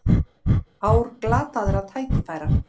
Ár glataðra tækifæra